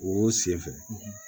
O senfɛ